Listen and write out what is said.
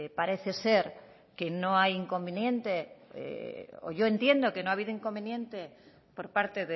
parece ser que no hay inconveniente o yo entiendo que no ha habido inconveniente por parte